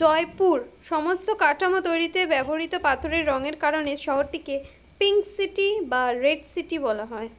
জয়পুর, সমস্ত কাঠামো তৈরিতে ব্যবহৃত পাথরের রঙের কারণে শহরটিকে, pink city বা red city বলা হয়।